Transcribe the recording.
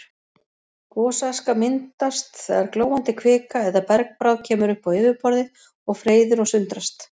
Gosaska myndast þegar glóandi kvika eða bergbráð kemur upp á yfirborðið og freyðir og sundrast.